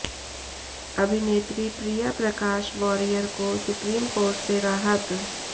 अभिनेत्री प्रिया प्रकाश वारियर को supreme court से राहत